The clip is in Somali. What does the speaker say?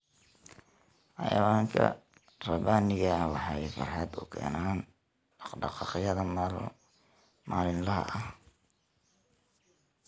Xayawaanka rabbaaniga ah waxay farxad u keenaan dhaqdhaqaaqyada maalinlaha ah.